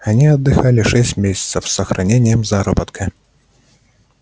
они отдыхали шесть месяцев с сохранением заработка